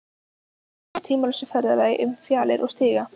Týna sér á tímalausa ferðalagi um fjalir og stiga.